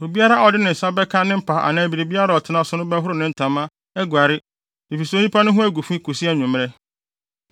Obiara a ɔde ne nsa bɛka ne mpa anaa biribiara a ɔtena so no bɛhoro ne ntama, aguare, efisɛ onipa no ho agu fi kosi anwummere.